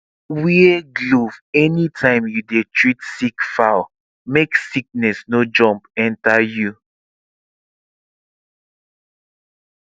wear glove anytime you dey treat sick fowl make sickness no jump enter you